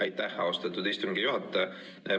Aitäh, austatud istungi juhataja!